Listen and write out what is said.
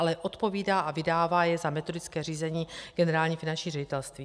Ale odpovídá a vydává je za metodické řízení Generální finanční ředitelství.